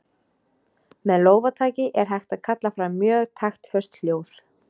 Með lófataki er hægt að kalla fram mjög taktföst hljóð.